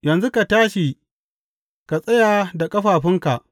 Yanzu ka tashi, ka tsaya da ƙafafunka.